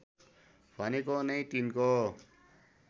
भनेको नै तिनको